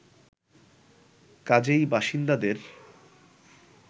কাজেই বাসিন্দাদের